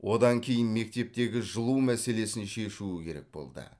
одан кейін мектептегі жылу мәселесін шешуі керек болды